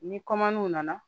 Ni w nana